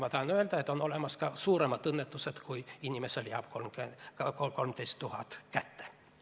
Ma tahan öelda seda, et on olemas ka suuremaid õnnetusi kui see, et inimesele jääb 13 000 eurot kätte.